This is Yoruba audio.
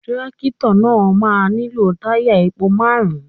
Tírákìtọ̀ náà máa nílò lítày epo márùn-ún.